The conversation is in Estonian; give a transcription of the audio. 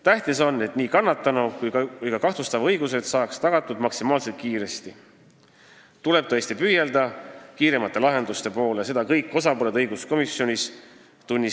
Tähtis on, et nii kannatanu kui ka kahtlustatava õigused tagataks maksimaalselt kiiresti, ja tuleb tõesti püüelda kiiremate lahenduste poole – seda tunnistasid õiguskomisjonis kõik osapooled.